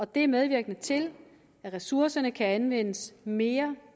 det er medvirkende til at ressourcerne kan anvendes mere